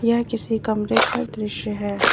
यह किसी कमरे का दृश्य है।